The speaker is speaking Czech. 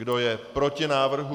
Kdo je proti návrhu?